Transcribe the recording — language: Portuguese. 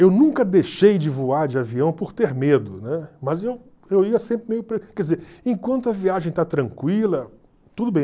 Eu nunca deixei de voar de avião por ter medo, né, mas eu eu ia sempre meio quer dizer, enquanto a viagem está tranquila, tudo bem.